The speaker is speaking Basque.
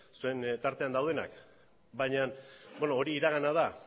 zuen tartean daudenak baina hori iragana da